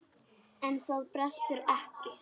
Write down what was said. En það brestur ekki.